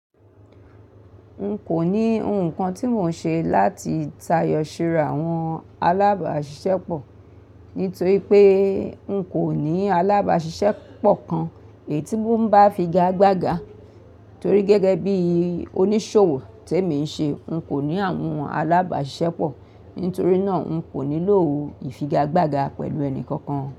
N kò ní nǹkan tí mò ń ṣe láti tayọ síra àwọn alábàáṣiṣẹ́pọ̀ nítorí pé n kò ní alábàáṣiṣẹ́pọ̀ kan èyí tí mò ń bá figagbága torí gẹ́gẹ́ bí oníṣòwò tí èmi ń ṣe, n kò ní àwọn alábàáṣiṣẹ́pọ̀. Nítorí náà, n kò nílò ìfigagbága pẹ̀lú ẹni kankan.